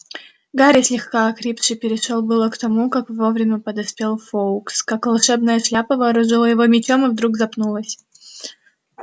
гарри слегка охрипший перешёл было к тому как вовремя подоспел фоукс как волшебная шляпа вооружила его мечом и вдруг запнулась